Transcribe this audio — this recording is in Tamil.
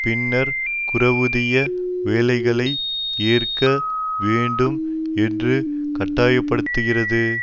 பின்னர் குறைவூதிய வேலைகளை ஏற்க வேண்டும் என்று கட்டாயப்படுத்துகிறது